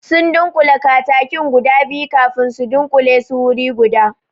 Sun dunƙule katakin guda biyu kafin su dunkule su wuri guda